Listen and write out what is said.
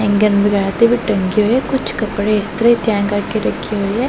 ਟੰਗੇ ਹੋਏ ਐ ਕੁਝ ਕੱਪੜੇ ਇਸਤਰੀ ਤੈਅ ਕਰਕੇ ਰੱਖੇ ਹੋਏ ਐ।